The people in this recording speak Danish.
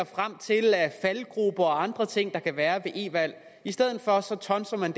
frem til af faldgruber eller andre ting der kan være i e valg i stedet for tonser man